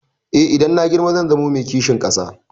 Eh, idan na girma zan zamo mai kishin ƙasa.